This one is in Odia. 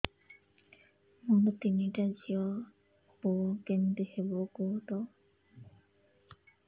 ମୋର ତିନିଟା ଝିଅ ପୁଅ କେମିତି ହବ କୁହତ